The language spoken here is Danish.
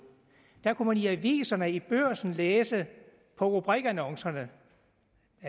der kunne i aviserne i børsen læse rubrikannoncerne